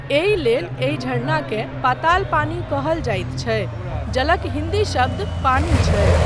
एहिलेल, एहि झारनाकेँ पाताल पानी कहल जाइत छै, जलक हिन्दी शब्द पानी छै।